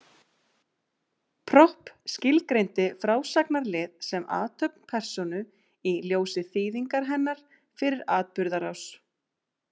Propp skilgreindi frásagnarlið sem athöfn persónu í ljósi þýðingar hennar fyrir atburðarás.